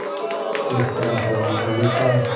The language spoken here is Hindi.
किस तरह स्वाभाविक था